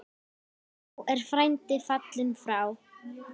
Nú er frændi fallinn frá.